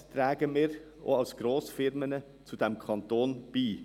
Was tragen wir als Grossfirmen auch zu diesem Kanton bei?